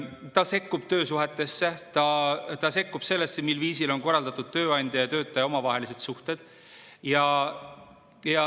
Ta sekkub töösuhetesse, ta sekkub sellesse, mil viisil on korraldatud tööandja ja töötaja omavahelised suhted.